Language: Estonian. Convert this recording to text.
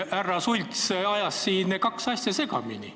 Härra Sults ajas siin kaks asja segamini.